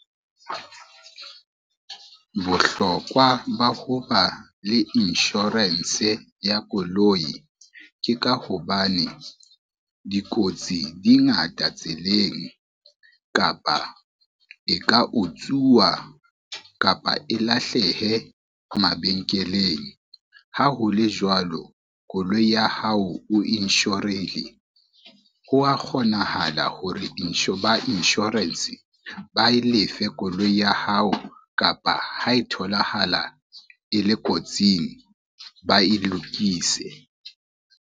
Bohlokwa ba ho ba le insurance ya koloi, ke ka hobane dikotsi di ngata tseleng kapa e ka utsuwa kapa e lahlehe mabenkeleng. Ha ho le jwalo, koloi ya hao o insure-rile, ho a kgonahala hore ba insurance ba e lefe koloi ya hao kapa ha e tholahala e le kotsing, ba e lokise.